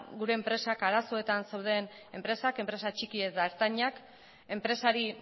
gure enpresak arazoetan zeuden enpresak enpresa txikiak eta ertainak enpresari